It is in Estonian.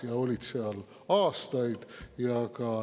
Nad olid seal aastaid.